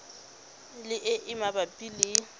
le e e mabapi le